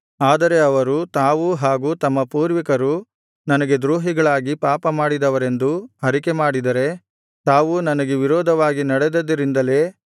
ಆದರೆ ಅವರು ತಾವೂ ಹಾಗು ತಮ್ಮ ಪೂರ್ವಿಕರು ನನಗೆ ದ್ರೋಹಿಗಳಾಗಿ ಪಾಪಮಾಡಿದವರೆಂದೂ ಅರಿಕೆಮಾಡಿದರೆ ತಾವು ನನಗೆ ವಿರೋಧವಾಗಿ ನಡೆದುದರಿಂದಲೇ